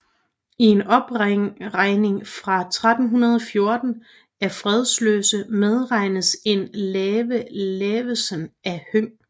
I en opregning fra 1314 af fredløse medtages en Lave Lavesen af Høng